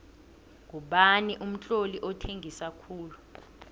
ngubani umtloli othengisa khulu